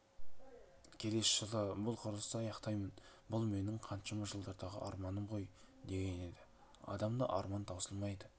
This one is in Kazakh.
келесі жылы бұл құрылысты аяқтаймын бұл менің қаншама жылдардағы арманым ғой деген еді адамда арман таусылмайды